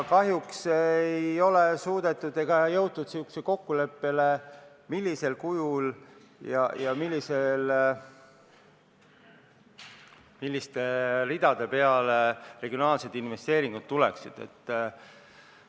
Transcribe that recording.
Kahjuks ei ole suudetud jõuda sellisele kokkuleppele, millisel kujul ja milliste ridade peale regionaalsed investeeringud peaksid minema.